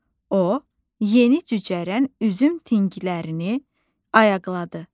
O, yeni cücərən üzüm tinglərini ayaqladı.